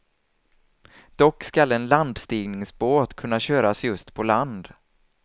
Dock skall en landstigningsbåt kunna köras just på land.